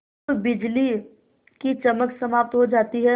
जब बिजली की चमक समाप्त हो जाती है